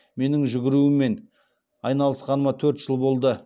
менің жүгірумен айналысқаныма төрт жыл болды